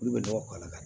Olu bɛ nɔgɔ k'a la